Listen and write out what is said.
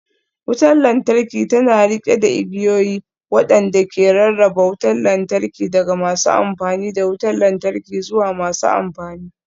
Wutar lantarki tana riƙe da igiyoyi waɗanda ke rarraba wutar lantarki daga masu amfani da wutar lantarki zuwa masu amfani